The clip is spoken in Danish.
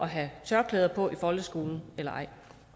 have tørklæde på i folkeskolen eller